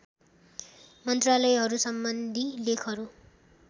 मन्त्रालयहरू सम्बन्धी लेखहरू